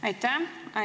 Aitäh!